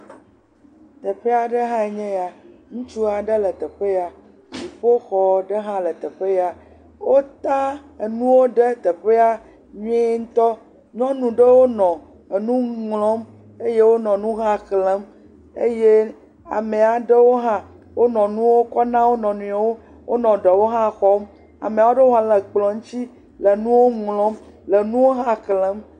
Teƒe aɖe hã nye eya, ŋutsu aɖe le teƒe ya, dziƒoxɔ ɖe hã le teƒe, wota enuwo ɖe teƒ nyuietɔ nyɔnuwo nɔ enu ŋlɔm eye wonɔ nu hã xlẽm eye ame aɖewo hã wonɔ nuwo ko na wo nɔewo, wonɔ ɖewo hã xɔm, ame aɖewo hã le kplɔ ŋuti le nuwo ŋlɔm le nuwo hã xlẽm.